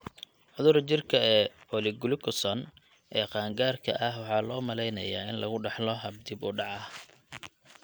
Cudurka jirka ee polyglucosan ee qaangaarka ah waxaa loo maleynayaa in lagu dhaxlo hab dib-u-dhac ah.